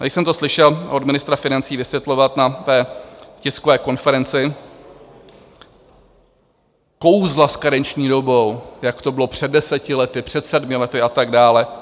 Když jsem to slyšel od ministra financí vysvětlovat na té tiskové konferenci, kouzla s karenční dobou, jak to bylo před deseti lety, před sedmi lety a tak dále.